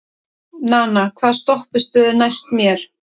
Nana, hvaða stoppistöð er næst mér?